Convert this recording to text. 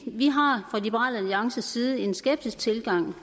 vi har fra liberal alliances side en skeptisk tilgang